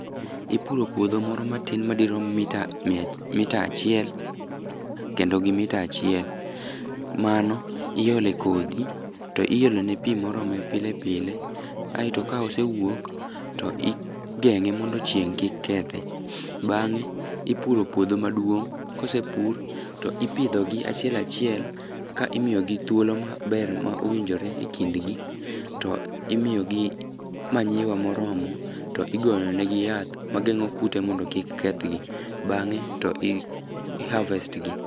Ipuro puodho moro matin madirom mita achiel, kendo gi mita achiel. Mano iole kodhi to iolone pi morome pile pile, aeto ka osewuok to igeng'e mondo chieng' kik kethe. Bang'e, ipuro puodho maduong',kosepur, to ipidhogi achiel achiel ka imiyogi thuolo maber ma owinjore e kindgi, to imiyogi manyiwa moromo to igoyo nengi yath mageng'o kute mondo kik kethgi. Bang'e, to i harvest gi.